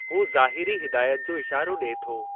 हू ज़ाहिरी हिदायत जो इशारो ॾिए थो।